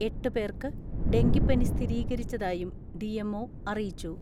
എട്ട് പേർക്ക് ഡെങ്കിപ്പനി സ്ഥിരീകരിച്ചതായും ഡി.എം.ഒ അറിയിച്ചു.